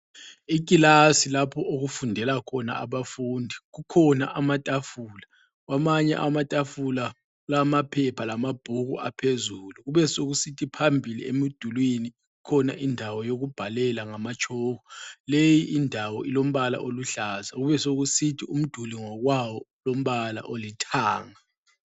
Ikilasi lapho okufundela khona abafundi kukhona amatafula. Kwamanye amatafula kulamaphepha lamabhuku aphezulu ,besekusithi phambili emdulwini kukhona indawo yokubhalela ngamatshoko, leyi indawo ilombala oluhlaza besekusithi umduli ngokwawo ulombala olithanga.